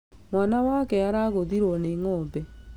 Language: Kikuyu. Mwana wake aragũthirwo nĩ ng'ombe